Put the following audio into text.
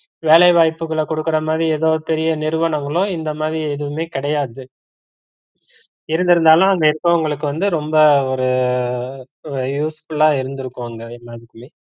வேலைவாய்ப்புகள குடுக்கற மாதிரி எதோ பெரிய நிறுவனங்களும் இந்த மாதிரி எதுவுமே கிடையாது இருதிருந்தாலும் அங்க இருக்குறவுங்களுக்கு வந்து ரொம்ப ஒரு usefull லா இருந்திருக்கும் அங்க எல்லாதுகுமே